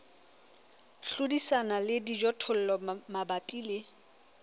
hlodisana le dijothollo mabapi le